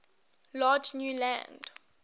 large new land